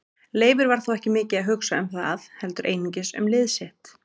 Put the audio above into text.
Leifur var þó ekki mikið að hugsa um það heldur einungis um lið sitt.